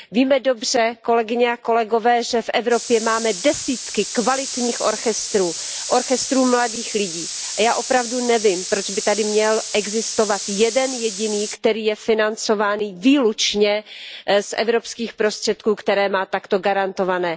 Víme dobře, kolegyně a kolegové, že v Evropě máme desítky kvalitních orchestrů, orchestrů mladých lidí a já opravdu nevím, proč by tady měl existovat jeden jediný, který je financovaný výlučně z evropských prostředků, které má takto garantované.